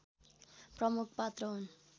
प्रमुख पात्र हुन्